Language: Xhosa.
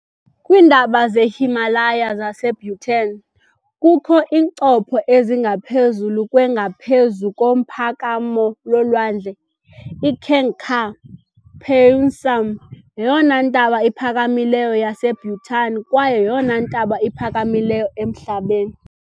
Kwiintaba ze-Himalaya zaseBhutan, kukho iincopho ezingaphezulu kwe ngaphezu komphakamo wolwandle . IGangkhar Puensum yeyona ntaba iphakamileyo yaseBhutan kwaye yeyona ntaba iphakamileyo emhlabeni.